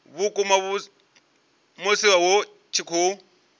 vhukuma musi hu tshi khou